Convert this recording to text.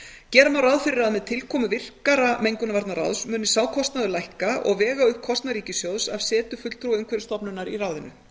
gera má ráð fyrir að með tilkomu virkara mengunarvarnaráðs muni sá kostnaður lækka og vega upp kostnað ríkissjóðs af setu fulltrúa umhverfisstofnunar í ráðinu